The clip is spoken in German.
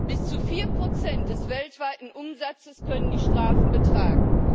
Bis zu vier Prozent des weltweiten Umsatzes können die Strafen betragen.